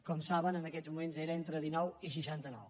com saben en aquests moments era entre dinou i seixanta nou